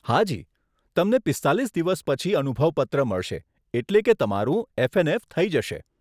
હા જી, તમને પીસ્તાલીસ દિવસ પછી અનુભવ પત્ર મળશે, એટલે કે તમારું એફએનએફ થઈ જશે.